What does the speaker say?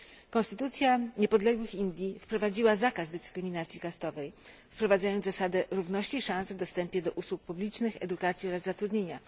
Konstytucja niepodległych Indii wprowadziła zakaz dyskryminacji kastowej, wprowadzając zasadę równości szans w dostępie do usług publicznych, edukacji oraz zatrudnienia.